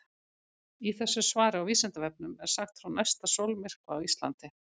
Í þessu svari á Vísindavefnum er sagt frá næsta sólmyrkva á Íslandi.